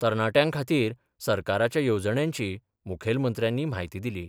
तरणाट्यांखातीर सरकाराच्या येवणजण्यांची मुखेलमंत्र्यांनी म्हायती दिली.